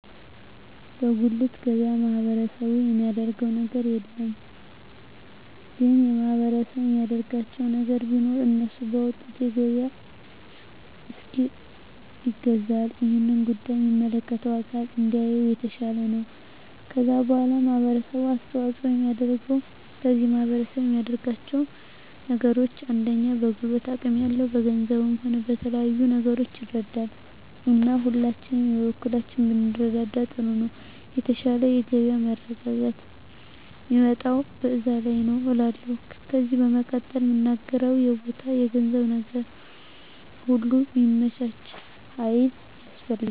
በጉልት ገበያ ማህበረሰቡ የሚያደረገው ነገር የለም ግን ማህበረሰቡ የሚያደርግላቸው ነገር ቢኖር እነሱ ባወጡት የገበያ እስኪል ይገዛል እሄን ጉዳይ የሚመለከተው አካል እንዲያየው የተሻለ ነው ከዛ በዋላ ማህበረሰቡ አስተዋጽኦ የሚያደርገው ከዚህ ማህረሰብ የሚያደርጋቸው ነገሮች አንደኛ በጉልበት አቅም ያለው በገንዘቡም ሆነ በተለያዩ ነገሮች ይረዳል እና ሁላችንም የበኩላችንን ብንረዳዳ ጥሩ ነው የተሻለ የገበያ መረጋጋት ሚመጣው በዛ ነዉ እላለሁ ከዜ በመቀጠል ምናገረው የቦታ የገንዘብ ነገር ሁሉ ሚመቻች ሀይል ያስፈልጋል